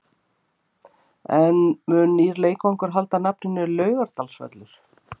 En mun nýr leikvangur halda nafninu Laugardalsvöllur?